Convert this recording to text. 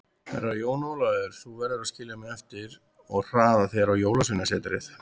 Herra Jón Ólafur, þú verður að skilja mig eftir og hraða þér á Jólasveinasetrið.